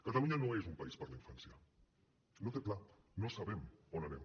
catalunya no és un país per a la infància no té pla no sabem on anem